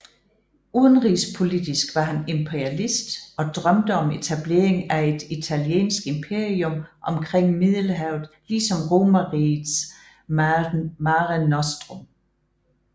Udenrigspolitisk var han imperialist og drømte om etablering af et italiensk imperium omkring Middelhavet ligesom Romerrigets Mare Nostrum